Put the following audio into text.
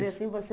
assim? Você